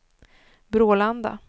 Brålanda